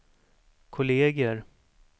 kolleger